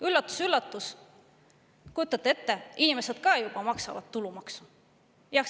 Üllatus-üllatus, kujutate ette, inimesed ka juba maksavad tulumaksu!